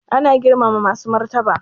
Ana girmama masu martaba